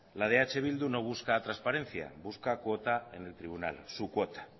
la eh bildu no busca transparencia busca cuota en el tribunal su cuota